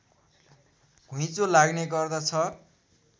घुइँचो लाग्ने गर्दछ